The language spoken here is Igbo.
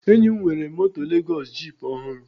Enyi m nwere moto Lezọs jip ọhụrụ